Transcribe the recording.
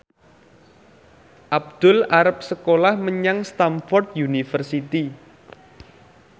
Abdul arep sekolah menyang Stamford University